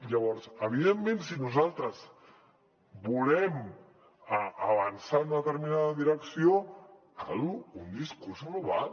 llavors evidentment si nosaltres volem avançar en una determinada direcció cal un discurs global